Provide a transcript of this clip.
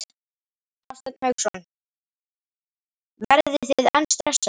Hafsteinn Hauksson: Verðið þið enn stressaðir?